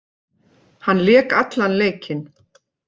Hann lék allan leikinn